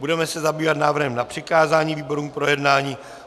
Budeme se zabývat návrhem na přikázání výborům k projednání.